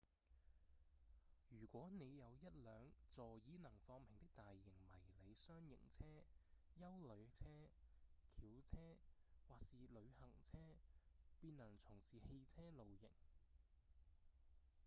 如果您有一輛座椅能放平的大型迷你廂型車、休旅車、轎車或是旅行車便能從事汽車露營